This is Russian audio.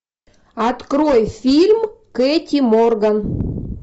открой фильм кэти морган